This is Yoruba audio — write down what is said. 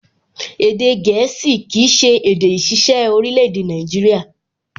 Èdè gẹ̀ẹ́sì kìí ṣe èdè ìṣiṣẹ́ orílẹ̀-èdè Nàìjíríyà